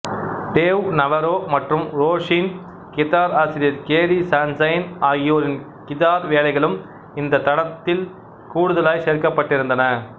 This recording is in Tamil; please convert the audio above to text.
டேவ் நவரோ மற்றும் ரோஸின் கிதார் ஆசிரியர் கேரி சன்ஷைன் ஆகியோரின் கிதார் வேலைகளும் இந்த தடத்தில் கூடுதலாய் சேர்க்கப்பட்டிருந்தன